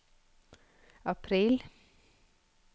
april